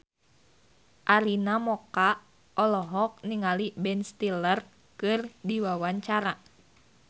Arina Mocca olohok ningali Ben Stiller keur diwawancara